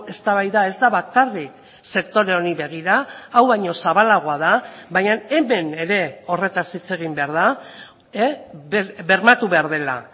eztabaida ez da bakarrik sektore honi begira hau baino zabalagoa da baina hemen ere horretaz hitz egin behar da bermatu behar dela